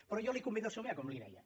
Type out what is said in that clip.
però jo la convido a somiar com li deia